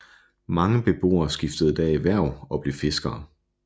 Mange beboere skiftede da erhverv og blev fiskere